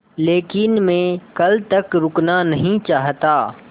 लेकिन मैं कल तक रुकना नहीं चाहता